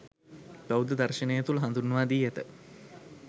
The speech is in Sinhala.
බෞද්ධ දර්ශනය තුළ හඳුන්වා දී ඇත.